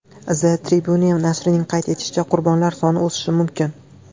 The Tribune nashrining qayd etishicha , qurbonlar soni o‘sishi mumkin.